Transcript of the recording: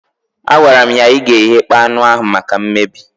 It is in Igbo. Agwara m ya, ị ga-eghekpọ anụ ahụ maka mmebi